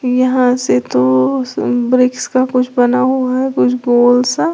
यहां से तो ब्रिक्स का कुछ बना हुआ है कुछ गोल सा।